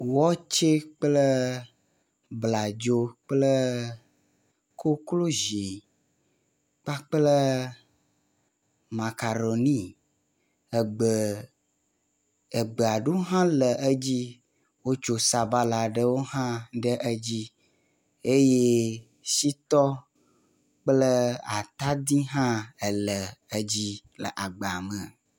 Watsɛ kple bladzo kple koklozi kpakple makaɖoni, egbe, egbe aɖewo hã le edzi. Wotso sabala aɖewo hã ɖe edzi eye shitɔ kple atadi hã ele edzi le agba me.